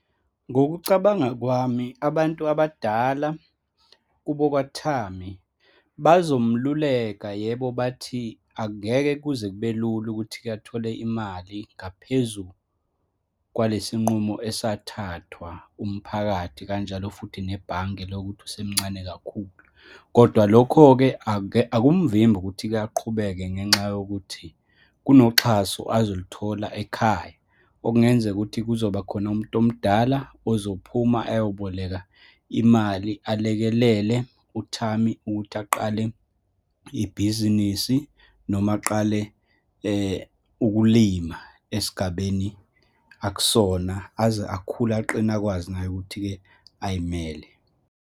Ngokucabanga kwami abantu abadala kubo kwaThami, bazomluleka, yebo, bathi angeke kuze kube lula ukuthi-ke athole imali ngaphezu kwalesinqumo esathathwa umphakathi, kanjalo futhi nebhange lokuthi usemncane kakhulu. Kodwa lokho-ke, akumvimbi ukuthi-ke aqhubeke ngenxa yokuthi, kunoxhaso azoluthola ekhaya, okungenzeka ukuthi kuzoba khona umuntu omdala ozophuma ayoboleka imali, alekelele uThami ukuthi aqale ibhizinisi, noma aqale ukulima esigabeni akusona, aze akhule, aqine, akwazi naye ukuthi-ke, ayimele.